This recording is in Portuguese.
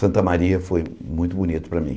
Santa Maria foi muito bonito para mim.